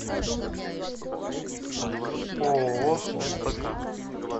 ооо спк